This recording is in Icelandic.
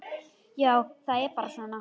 Já, það er bara svona.